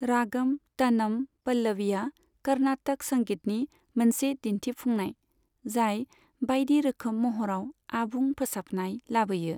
रागम तनम पल्लवीआ कर्नाटक संगीतनि मोनसे दिन्थिफुंनाय जाय बायदि रोखोम महराव आबुं फोसाबनाय लाबोयो।